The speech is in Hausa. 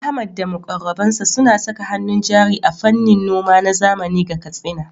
Ahmad da muƙarrabansa suna saka hannun jari a fannin noma na zamani ga Katsina.